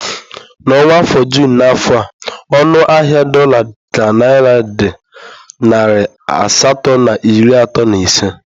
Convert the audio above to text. N'ọnwa Jụn n'afọ a ọnụ ahịa dola ka naira dị narị asatọ na iri atọ na ise